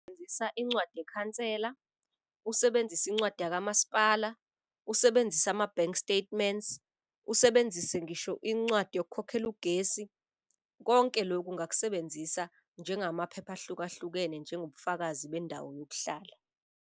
Incwadi yekhansela, usebenzise incwadi yakamasipala, usebenzise ama-bank statements, usebenzise ngisho incwadi yokukhokhela ugesi. Konke loku ungakusebenzisa njengamaphepha ahlukahlukene njengobufakazi bendawo yokuhlala.